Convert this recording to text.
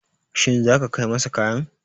Shin zaka kai masa kayan?